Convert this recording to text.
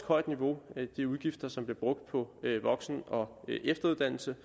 højt niveau de udgifter som bliver brugt på voksen og efteruddannelse